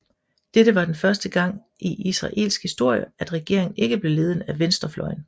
Dette var den første gang i israelsk historie at regeringen ikke blev ledet af venstrefløjen